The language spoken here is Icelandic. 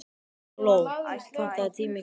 Gló, pantaðu tíma í klippingu á mánudaginn.